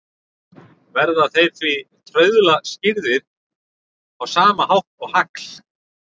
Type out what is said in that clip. Verða þeir því trauðla skýrðir á sama hátt og hagl.